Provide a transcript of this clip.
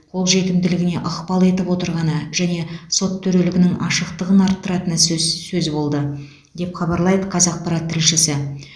қол жетімділігіне ықпал етіп отырғаны және сот төрелігінің ашықтығын арттыратыны сөз сөз болды деп хабарлайды қазақпарат тілшісі